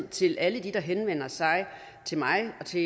til alle dem der henvender sig til mig og til